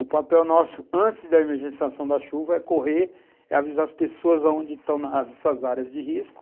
O papel nosso, antes da emergenciação da chuva, é correr, é avisar as pessoas onde estão nessas áreas de risco.